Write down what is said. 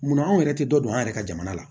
Munna anw yɛrɛ tɛ dɔ don an yɛrɛ ka jamana la